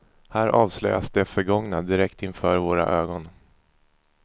Här avslöjas det förgångna direkt inför våra ögon.